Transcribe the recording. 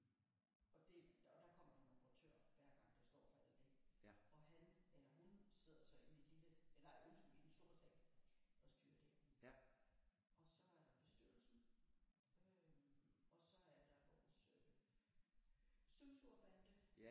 Og det og der kommer nogle operatører hver gang der står for alt det og han eller hun sidder så inde i den lille nej undskyld i den store sal og styrer det og så er der bestyrelsen øh og så er der vores øh støvsugerbande